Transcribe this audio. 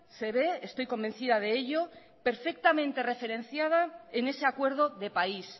se ve estoy convencida de ello perfectamente referenciada en ese acuerdo de país